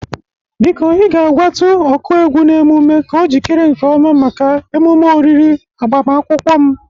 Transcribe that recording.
Biko ị ga-agwatụ ọkụ egwu n'emume ka o jikere nke ọma maka emume oriri agbamakwụkwọm.